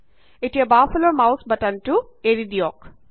এতিয়া বাওঁফালৰ মাউছ বাটনটো এৰি দিয়ক